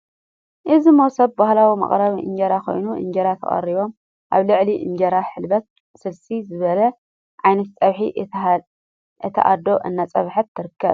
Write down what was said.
እዚ መሶብ ባህላዊ መቀረቢ እንጀራ ኮይኑ እንጀራ ተቀሪብዎ ኣብ ልዕሊ እንጀራ ሕልበት ስልሲ ዝበሃሉ ዓይነታት ፀብሒ እታ ኣዶ እንዳፀብሐት ትርከብ፡፡